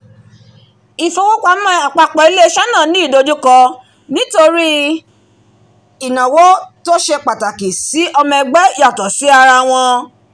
ìfowópamọ́ àpapọ̀ ilé-iṣẹ́ náà ní ìdojúkọ nítorí ìnáwó tó ṣe pàtàkì sí ọmọ ẹgbẹ́ yàtọ̀ sí ara wọn